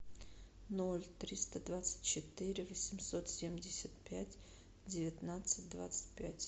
ноль триста двадцать четыре восемьсот семьдесят пять девятнадцать двадцать пять